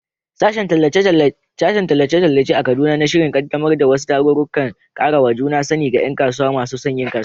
Sashen Tallace-tallace a Kaduna na shirin kaddamar da wasu tarurrukan karawa juna sani ga ’yan kasuwa masu son yin kasuwanci.